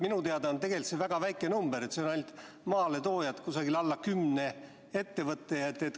Minu teada on see tegelikult väga väike number, ainult maaletoojad, alla kümne ettevõtte.